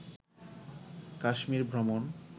কাশ্মীর ভ্রমণ